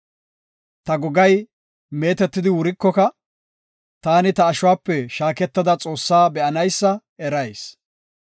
Ta gogay meetetidi wurikoka, taani ta ashuwape shaaketada Xoossaa be7anaysa erayis.